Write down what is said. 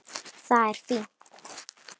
Það er fínt.